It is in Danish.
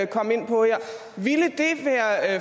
komme ind på her